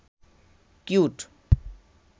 cute